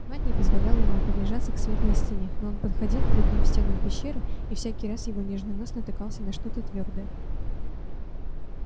мать не позволяла ему приближаться к светлой стене но он подходил к другим стенам пещеры и всякий раз его нежный нос натыкался на что-то твёрдое